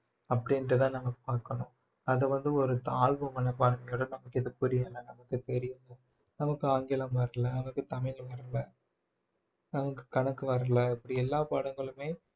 அப்படின்னுட்டுதான் நம்ம பார்க்கணும் அதை வந்து ஒரு தாழ்வு மனப்பான்மையோட நமக்கு எதுவும் புரியலைன்னு நமக்கு தெரியும் நமக்கு ஆங்கிலம் வரலை நமக்கு தமிழ் வரல நமக்கு கணக்கு வரலை இப்படி எல்லா பாடங்களுமே